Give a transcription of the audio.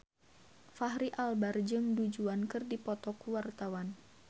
Fachri Albar jeung Du Juan keur dipoto ku wartawan